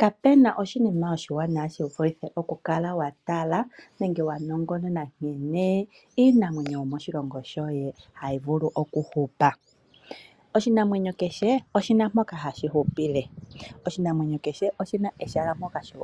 Kapuna oshinima oshiwanawa shivulithe okukala watala nenge wanongonona nkene iinamwenyo yomoshilongo shoye hayi vulu okuhupa. Oshinamwenyo kehe oshina mpoka hashi hupile. Oshinamwenyo kehe oshina ehala mpoka hashi